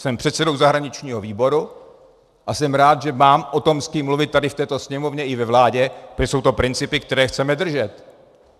Jsem předsedou zahraničního výboru a jsem rád, že mám o tom s kým mluvit tady v této Sněmovně i ve vládě, protože jsou to principy, které chceme držet.